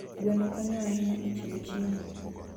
Gweno konyo ahinya e chiwo chiemo.